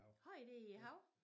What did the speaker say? Har i det i haven?